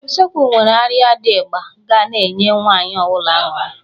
Usekwu nwere arịa dị ịgba ga na-enye nwaanyị ọbụla aṅụrị.